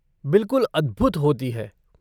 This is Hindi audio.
बिलकुल अद्भुत होती है।